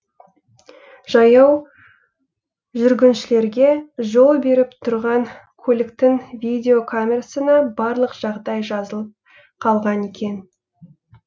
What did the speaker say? жаяу жүргіншілерге жол беріп тұрған көліктің видеокамерасына барлық жағдай жазылып қалған екен